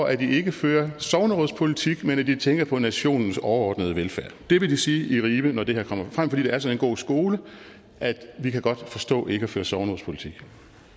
at de ikke fører sognerådspolitik men at de tænker på nationens overordnede velfærd det vil de sige i ribe når det her kommer frem for det er sådan en god skole at de godt kan forstå ikke at føre sognerådspolitik